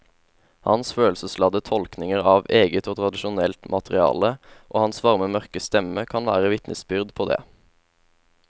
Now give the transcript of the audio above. Hans følelsesladde tolkninger av eget og tradisjonelt materiale og hans varme mørke stemme kan være vitnesbyrd på det.